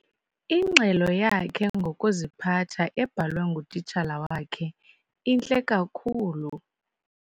Ingxelo yakhe ngokuziphatha ebhalwe ngutitshala wakhe intle kakhulu.